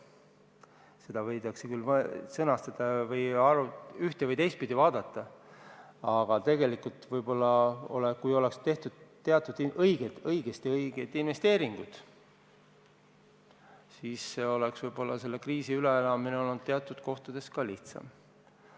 Seda võidakse üht- ja teistpidi vaadata, aga tegelikult, kui oleks tehtud teatud õiged investeeringud, siis oleks selle kriisi üleelamine teatud kohtades lihtsam olnud.